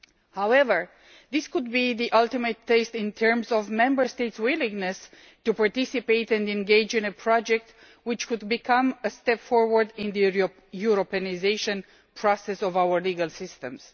However, this could be the ultimate test in terms of Member States' willingness to participate and engage in a project which could become a step forward in the Europeanisation process of our legal systems.